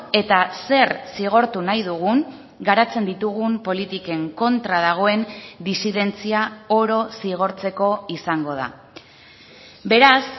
eta zer zigortu nahi dugun garatzen ditugun politiken kontra dagoen disidentzia oro zigortzeko izango da beraz